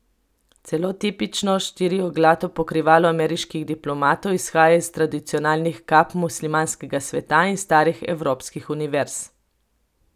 Celo tipično štirioglato pokrivalo ameriških diplomantov izhaja iz tradicionalnih kap muslimanskega sveta in starih evropskih univerz.